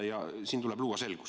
Siin tuleb luua selgus.